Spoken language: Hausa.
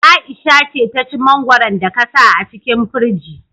Aisha ce ta ci mangwaron da ka sa a cikin firji